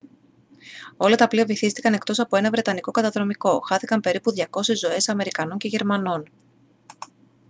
όλα τα πλοία βυθίστηκαν εκτός από ένα βρετανικό καταδρομικό χάθηκαν περίπου 200 ζωές αμερικανών και γερμανών